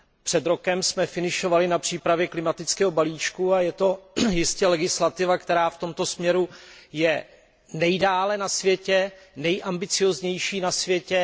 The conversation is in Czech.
Před rokem jsme finišovali na přípravě klimatického balíčku a to je jistě legislativa, která je v tomto směru nejdále na světě a je nejambicióznější na světě.